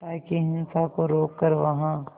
ताकि हिंसा को रोक कर वहां